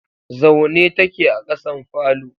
Zaune take a kasan falo.